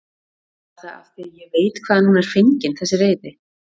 Var það af því ég veit hvaðan hún er fengin þessi reiði?